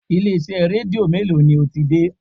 Ilé-iṣẹ́ Rédíó mélòó ni o ti dé?